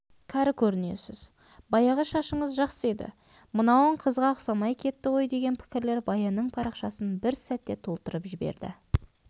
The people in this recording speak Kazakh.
кәрі көрінесіз баяғы шашыңыз жақсы еді мынауын қызға ұқсамай кетті ғой деген пікірлер баянның парақшасын бір сәтте толтырып жіберді